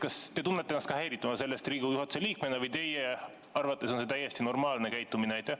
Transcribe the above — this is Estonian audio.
Kas te tunnete ennast Riigikogu juhatuse liikmena sellest häirituna või teie arvates on see täiesti normaalne käitumine?